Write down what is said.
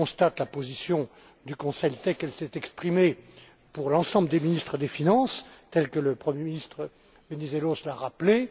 je constate la position du Conseil telle qu'elle a été exprimée pour l'ensemble des ministres des finances, et telle que le premier ministre Venizelos l'a rappelée.